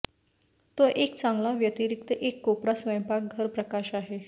तो एक चांगला व्यतिरिक्त एक कोपरा स्वयंपाकघर प्रकाश आहे